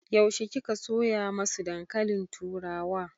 Yaushe ka soya masu dankalin turawa?